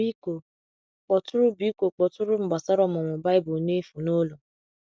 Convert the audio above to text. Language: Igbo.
Biko kpọtụrụ Biko kpọtụrụ m gbasara ọmụmụ Baịbụl n’efu n’ụlọ.